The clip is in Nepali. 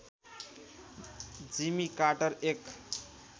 जिमी कार्टर एक